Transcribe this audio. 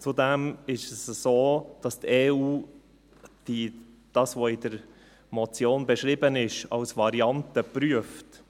Zudem ist es so, dass die EU das in der Motion Beschriebene als Variante prüft.